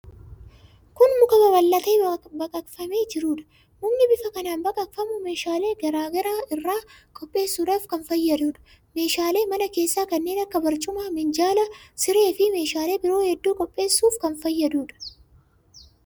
Kun muka babal'atee baqaqfamee jiruudha. Mukni bifa kanaan baqaqfamu meeshaalee garaa garaa irraa qopheessuudhaaf kan fayyaduudha. Meeshaalee mane keessaa kanneen akka barcuma, minjaala, sireefi meeshaalee biroo hedduu qopheessuuf kan fayyaduudha.